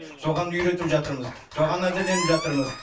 соған үйретіп жатырмыз соған әзірленіп жатырмыз